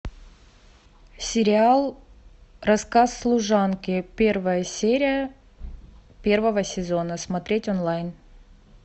сериал рассказ служанки первая серия первого сезона смотреть онлайн